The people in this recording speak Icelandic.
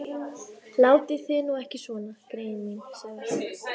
Látið þið nú ekki svona, greyin mín sagði hann.